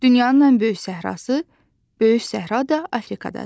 Dünyanın ən böyük səhrası, Böyük Səhra da Afrikadadır.